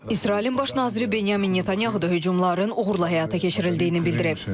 İsrailin Baş naziri Benyamin Netanyahu da hücumların uğurla həyata keçirildiyini bildirib.